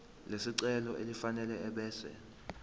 lesicelo elifanele ebese